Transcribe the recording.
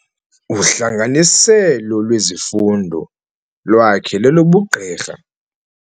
Uhlanganiselo lwezifundo lwakhe lolobugqirha.